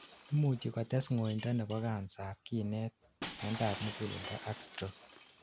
imuchi kotes ngoindo nebo cancer ab kinet, miandap muguleldo ak stroke